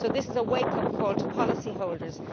So this is a wake up call to policyholders.